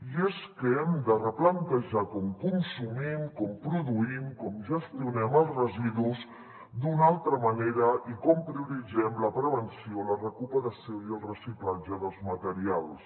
i és que hem de replantejar com consumim com produïm com gestionem els residus d’una altra manera i com prioritzem la prevenció la recuperació i el reciclatge dels materials